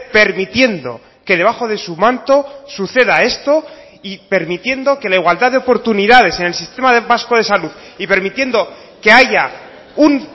permitiendo que debajo de su manto suceda esto y permitiendo que la igualdad de oportunidades en el sistema vasco de salud y permitiendo que haya un